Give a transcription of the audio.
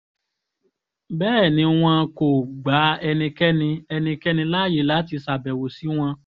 bẹ́ẹ̀ ni wọn kò gba ẹnikẹ́ni ẹnikẹ́ni láàyè láti ṣàbẹ̀wò sí wọn